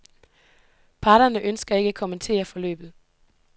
Parterne ønsker ikke at kommentere forløbet.